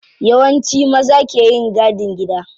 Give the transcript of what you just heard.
Yawanci maza ke yin gadin gida.